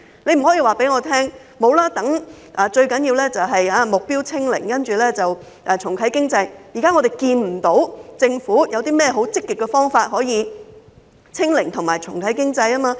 政府不可以說，最重要是目標"清零"，重啟經濟，我們現時看不到政府有甚麼積極方法可以"清零"及重啟經濟。